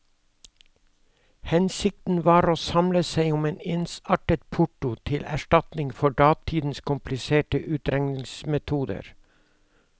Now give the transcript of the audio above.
Hensikten var å samle seg om en ensartet porto til erstatning for datidens kompliserte utregningsmetoder.